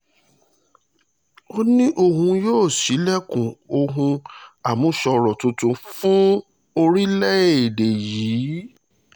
ó ní òun yóò ṣí ilẹ̀kùn ohun àmúṣọrọ̀ tuntun fún orílẹ̀-èdè yìí